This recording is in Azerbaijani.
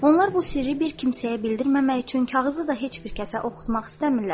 Onlar bu sirri bir kimsəyə bildirməmək üçün kağızı da heç bir kəsə oxutmaq istəmirlər.